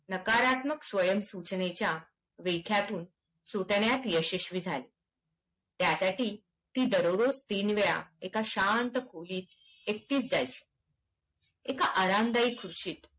नकारात्मक स्वयंसूचनेच्या बैड्यातून सुटण्यात यशस्वी झाली त्यासाठी ती दररोज तीन वेळा एका शांत खोलीत एकटीच जायची एका आरामदायि खुर्चीवर